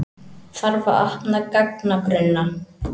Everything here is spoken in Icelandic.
Þarf að opna gagnagrunna